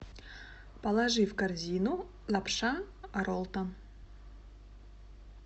положи в корзину лапша роллтон